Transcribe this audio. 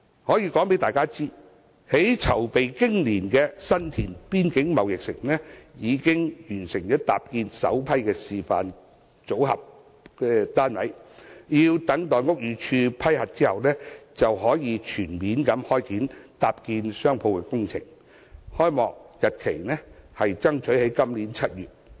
我想告訴大家，籌備經年的新田邊境購物城已經完成搭建首批示範組合單位，待屋宇署批核後，就可以全面開展搭建商鋪的工程，爭取在今年7月開幕。